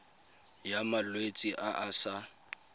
ya malwetse a a sa